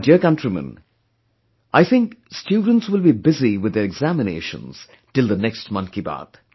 My dear countrymen, I think students will be busy with their examinations till the next Mann Ki Baat